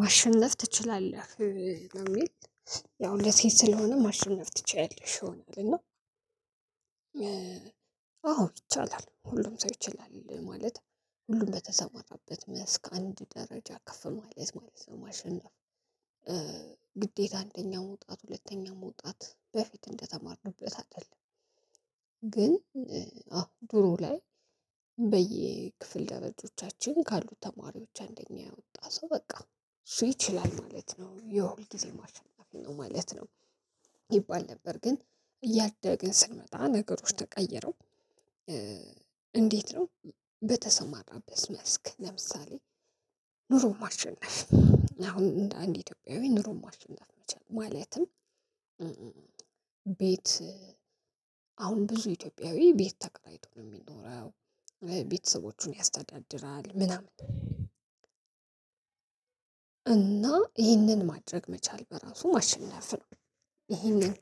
ማሸነፍ ትችላለህ ነው ሚል። ያው ለሴት ስለሆነ ማሸነፍ ትችያለሽ ወይ እልና። አዎ ይቻላል ሁሉም ሰው ይችላል ማለት ሁሉም በተሰማራበት መስክ አንድ ደረጃ ከፍ ማለት ነው። ማሸነፍ። ግዴታ አንደኛ መውጣት ሁለተኛ መውጣት በፊት እንደተማርንበት አይደለም። ግን አሁን ድሮ ላይ። በየክፍል ደረጆቻችን ካሉት ተማሪዎች አንደኛ ያወጣ ሰው በቃ እሱ ይችላል ማለት ነው የሁልጊዜ አሸናፊ ነው ማለት ነው። ይባል ነበር ግን እያደግን ስንመጣ ነገሮች ተቀየረው። እንዴት ነው? በተሰማራበት መስክ ለምሳሌ ኑሮን ማሸነፍ። አሁን እንደ አንድ አትዮጲያዊ ኑሮን ማሸነፍ ሚችል ማለትም። ቤት አሁን ብዙ ኢትዮጵያዊ ቤት ተከራይቶ ነው ሚኖረው። ቤተሰቦቹን ያስተዳድራል ምናምን። እና ይህንን ማድረግ መቻል በራሱ ማሸነፍ ነው። ይህንን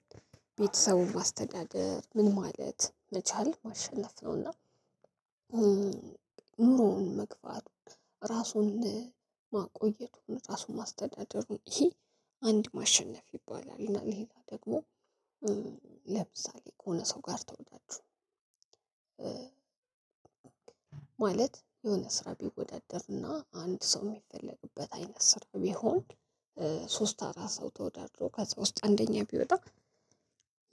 ቤተሰቡን ማስተዳደር ምን ማለት መቻል ማሸነፍ ነው እና። ኑሮውን መግፋት ራሱን ማቆየቱን ራሱን ማስተዳደሩን ይሄ አንድ ማሸነፍ ይባላል እና ሌላው ደግሞ። ለምሳሌ ከሆነ ሰው ጋር ተወዳድሮ። ማለት የሆነ ስራ ቢወዳደርና አንድ ሰው የሚፈለግበት አይነት ስራ ቢሆን። ሶስት አራት ሰው ተወዳድሮ ከዛ ውስጥ አንደኛ ቢወጣ።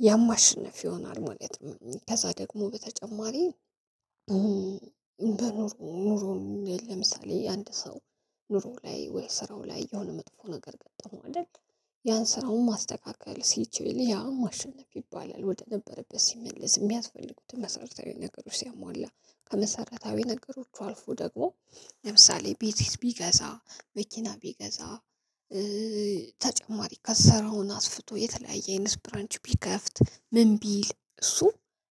ያማሽነፍ ይሆናል ማለት ነው ከዛ ደግሞ በተጨማሪ። በኑሮ ኑሮም ለምሳሌ አንድ ሰው ኑሮ ላይ ወይ ስራው ላይ የሆነ መጥፎ ነገር ገጠመው አደል? ያን ስራውን ማስተካከል ሲችል ያ ማሸነፍ ይባላል ወደነበረበት ሲመልስ የሚያስፈልጉትን መሰረታዊ ነገሮች ሲያሟላ። ከመሰረታዊ ነገሮች አልፎ ደግሞ ለምሳሌ ቢቲስ ቢገዛ መኪና ቢገዛ። ተጨማሪ ከሰራውን አስፍቶ የተለያየ አይነት ብራንች ቢከፍት ምን ቢል እሱ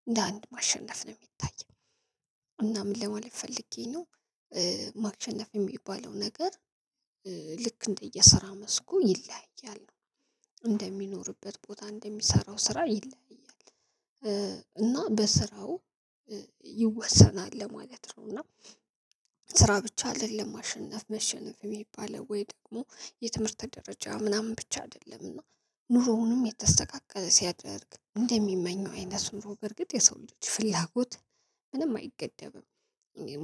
እንደ አንድ ማሸነፍ ነው የሚታየው። እና ምን ለማለት ፈልጌ ነው። ማሸነፍ ሚባለው ነገር። ልክ እንደየስራ መስኩ ይለያያል ነው። እንደሚኖርበት ቦታ እንደሚሰራው ስራ ይለያያል። እና በስራው ይወሰናል ለማለት ነው እና። ስራ ብቻ አደለም አሸነፍ መሸነፍ ሚባለው ወይ ደግሞ የትምህርት ደረጃ ምናምን ብቻ አይደለምና። ኑሮውንም የተስተካከለ ሲያደርግ እንደሚመኘው አይነት ኑሮ በርግጥ የሰው ልጅ ፍላጎት ምንም አይገደብም።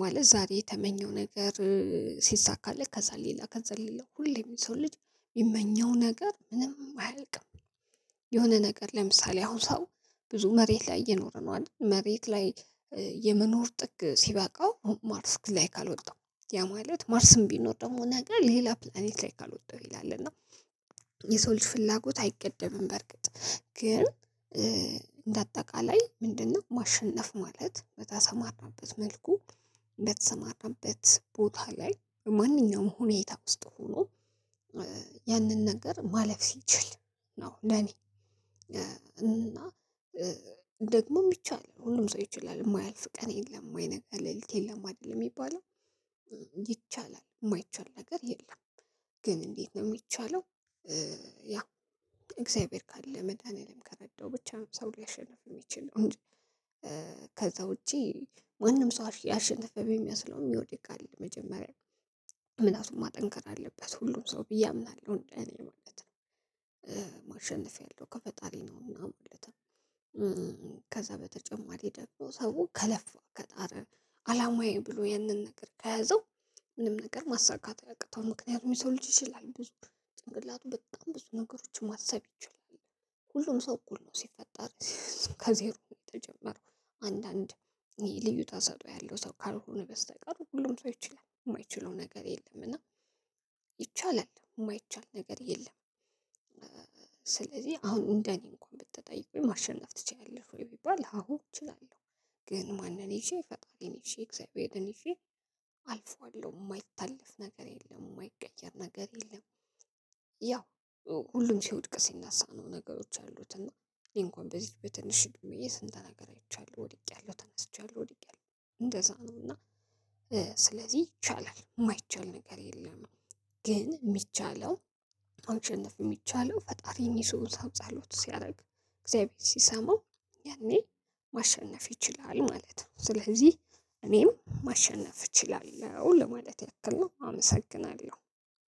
ማለት ዛሬ የተመኘው ነገር ሲሳካለት ከዛ ሌላ ከዛ ሌላ ሁሌም የሰው ልጅ ሚመኘው ነገር ምንም አያልቅም። የሆነ ነገር ለምሳሌ አሁን ሰው ብዙ መሬት ላይ እየኖረነው አደል መሬት ላይ። የመኖር ጥግ ሲበቃው ማርስ ላይ ካልወጣው ያ ማለት ማርስም ቢኖር ደግሞ ነገር ሌላ ፕላኔት ላይ ካልወጣው ይላል እና። የሰው ልጅ ፍላጎት አይገደብም። በርግጥ ግን እንደአጠቃላይ ምንድን ነው ማሸነፍ ማለት በተሰማራበት መልኩ። እንደተሰማራበት ቦታ ላይ ማንኛውም ሁኔታ ውስጥ ሁኖ። ያንን ነገር ማለፍ ሲችል። ነው ለኔ። እና ደግሞ ሚቻል ሁሉም ሰው ይችላል የማያልፍ ቀን የለም ማይነጋ ሌሊት የለም አደለም ሚባለው። ይቻላል እማይቻል ነገር የለም። ግን እንዴት ነው ሚቻለው? ያ እግዚአብሔር ካለ መድኃኒዓለም ከረዳው ብቻ ነው ሰው ሊያሸንፍ የሚችል ይችላል እንጂ። ከዛ ውጪ ማንም ሰው ያሸነፈ ቢመስለውም ሚወድቅ አለ መጀመሪያ። ምላቱን ማጠንከር አለበት ሁሉም ሰው ብዬ አምናለሁ እንደእኔ ማለት ነው። ማሸነፍ ያለው ከፈጣሪ ነውና ማለት። ከዛ በተጨማሪ ደግሞ ሰው ከለፋ ከጣረ አላማየ ብሎ ያንን ነገር ከያዘው። ምንም ነገር ማሳካት አያቅተው ምክንያቱም የሰው ልጅ ይችላል። ጭንቅላቱ በጣም ብዙ ነገሮችን ማሰብ ይችላል። ሁሉም ሰው እኩል ነው ሲፈጠር። ከዜሮ የተጀመረው አንዳንድ ይሄ ልዩ ታሰጦ ያለው ሰው ካልሆነ በስተቀር ሁሉም ሰው ይችላል የማይችለው ነገር የለም እና ይቻላል የማይቻል ነገር የለም። ስለዚህ አሁን እንደኔ እንኳን ብትጠይቁኝ ማሸነፍ ትችያለሽ ወይ ቢባል አሁን እችላለሁ። ግን ማንን ይዤ ፈጣሪን እሺ እግዚአብሔርን እሺ። አልፈዋለሁ የማይታለፍ ነገር የለም የማይቀየር ነገር የለም። ያው ሁሉም ሲወድቅ ሲነሳ ነው ነገሮች ያሉት እና። እኔ እንኳን በዚህ በትንሽ እድሚየ ስንት ነገር አይቻለሁ ወድቄያለሁ ተነስቻለሁ ወድቄያለሁ እንደዛ ነው። እና። ስለዚህ ይቻላል ማይቻል ነገር የለም። ግን ሚቻለው መሸነፍ ሚቻለው ፈጣሪን ይዞ ሰው ጸሎት ሲያረግ እግዛቤር ሲሰማው። ያኔ ማሸነፍ ይችላል ማለት ነው። ስለዚህ እኔም ማሸነፍ እችላለሁ ለማለት ያክል ነው አመሰግናለሁ።